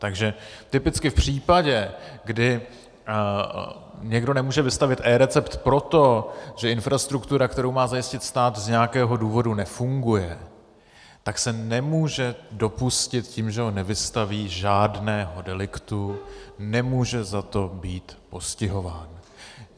Takže typicky v případě, kdy někdo nemůže vystavit eRecept proto, že infrastruktura, kterou má zajistit stát, z nějakého důvodu nefunguje, tak se nemůže dopustit tím, že ho nevystaví, žádného deliktu, nemůže za to být postihován.